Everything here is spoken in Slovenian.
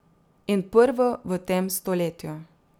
In prvo v tem stoletju.